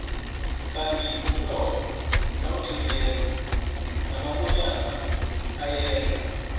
kandi umnotho nawuqinileko namakonyana ayehla